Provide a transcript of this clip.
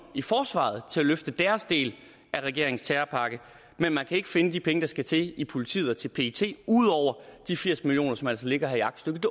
i forsvaret til at løfte deres del af regeringens terrorpakke men man kan ikke finde de penge der skal til til politiet og til pet ud over de firs million kr som altså ligger her i aktstykket